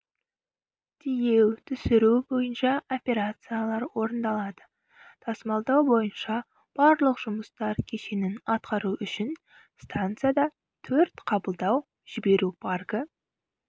тиеу-түсіру бойынша операциялар орындалады тасымалдау бойынша барлық жұмыстар кешенін атқару үшін стансада төрт қабылдау-жіберу паркі